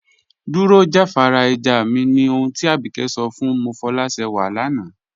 Dúró jàfàrà ẹ̀já mí, ní òhùn tí Ábíkẹ̀ sọ̀ fún Mofọlásẹ́wà lànà.